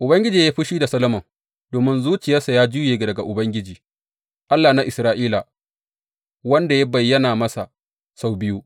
Ubangiji ya yi fushi da Solomon domin zuciyarsa ya juye daga Ubangiji, Allah na Isra’ila, wanda ya bayyana masa sau biyu.